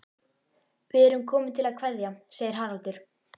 Við erum komin til að kveðja, segir Haraldur.